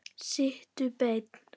Sittu beinn.